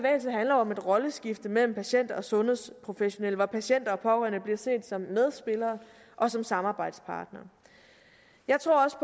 om et rolleskifte mellem patient og sundhedsprofessionelle hvor patienter og pårørende bliver set som medspillere og som samarbejdspartnere jeg tror også